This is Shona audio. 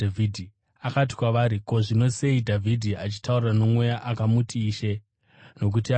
Akati kwavari, “Ko, zvino sei Dhavhidhi achitaura noMweya akamuti, ‘Ishe’? Nokuti anoti,